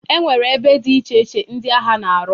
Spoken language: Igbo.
E nwere ebe dị iche iche ndị agha na-arụ.